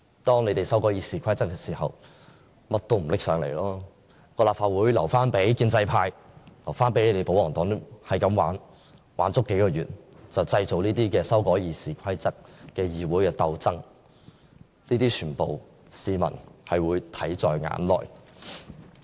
當他們修改《議事規則》時，政府便甚麼也不提交上來，把立法會留給建制派和保皇黨玩，玩足數個月，製造這些修改《議事規則》的議會鬥爭，這些市民會全部看在眼內。